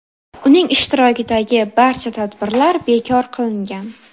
Uning ishtirokidagi barcha tadbirlar bekor qilingan.